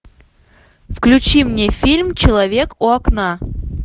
включи мне фильм человек у окна